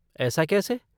ऐसा कैसे?